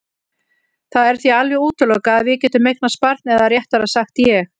Það er því alveg útilokað að við getum eignast barn eða réttara sagt ég.